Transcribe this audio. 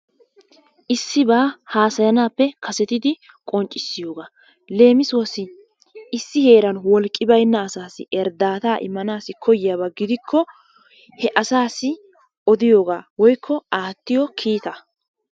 Issibbaa hasayannappe kasettidi qonccisiyogaa, lemisuwassi issi heran wolqqi baynna asaasi erdattaa immanasi koyiyaabbaa gidikko, hee asaasi odiyogaa woyko attiyoo kittaa.